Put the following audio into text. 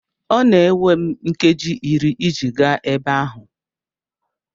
Ọ na-ewe m nkeji iri iji gaa ebe ahụ.